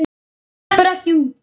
Hún sleppur ekki út.